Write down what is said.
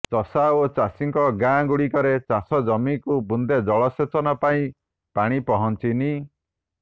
ଚଷା ଓ ଚାଷୀଙ୍କ ଗାଁ ଗୁଡିକରେ ଚାଷଜମିକୁ ବୁନ୍ଦେ ଜଳସେଚନ ପାଇଁ ପାଣି ପହଂଚିନି